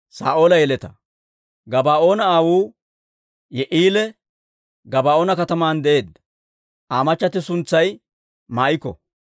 Gabaa'oona aawuu Yi'i'eeli Gabaa'oona kataman de'eedda. Aa machchatti suntsay Maa'iko.